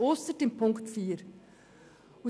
Ausgenommen ist die Ziffer 4.